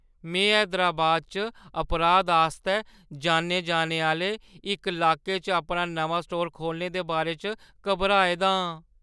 में हैदराबाद च अपराध आस्तै जान्ने जाने आह्‌ले इक लाके च अपना नमां स्टोर खोह्‌लने दे बारे च घबराए दा आं।